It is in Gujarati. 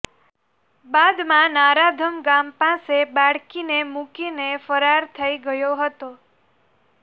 બાદમાં નરાધમ ગામ પાસે બાળકીને મૂકીને ફરાર થઈ ગયો હતો